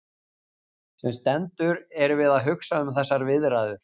Sem sendur erum við að hugsa um þessar viðræður.